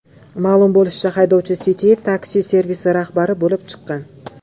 Ma’lum bo‘lishicha, haydovchi City Taxi servisi rahbari bo‘lib chiqqan.